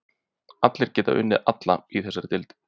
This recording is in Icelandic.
Allir geta unnið alla í þessari deild.